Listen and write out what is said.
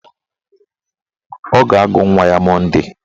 Ọ ga-agụ nwa ya Monde